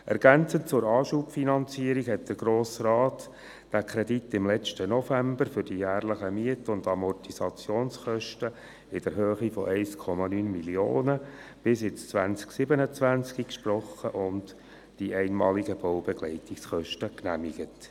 Ergänzend zur Anschubfinanzierung sprach der Grosse Rat letzten November den Kredit für die jährlichen Miet- und Amortisationskosten in der Höhe von 1,9 Mio. Franken bis ins Jahr 2027 und genehmigte die einmaligen Baubegleitungskosten.